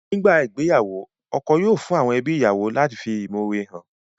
Nígbà ìgbéyàwó, ọkọ yóò fún àwọn ẹbí ìyàwó lati fi ìmọ̀ore han